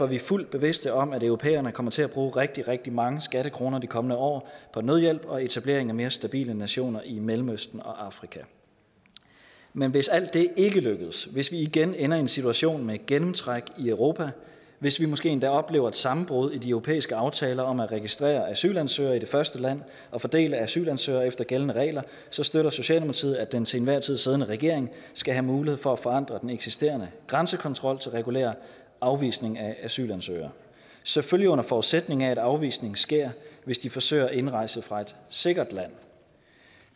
vi fuldt bevidste om at europæerne kommer til at bruge rigtig rigtig mange skattekroner de kommende år på nødhjælp og etablering af mere stabile nationer i mellemøsten og afrika men hvis alt det ikke lykkes hvis vi igen ender i en situation med gennemtræk i europa hvis vi måske endda oplever et sammenbrud i de europæiske aftaler om at registrere asylansøgere i det første land og fordele asylansøgere efter gældende regler så støtter socialdemokratiet at den til enhver tid siddende regering skal have mulighed for at forandre den eksisterende grænsekontrol til regulær afvisning af asylansøgere selvfølgelig under forudsætning af at afvisning sker hvis de forsøger at indrejse fra et sikkert land